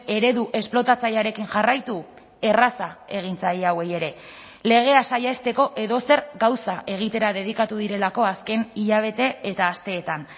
eredu esplotatzailearekin jarraitu erraza egin zaie hauei ere legea saihesteko edozer gauza egitera dedikatu direlako azken hilabete eta asteetan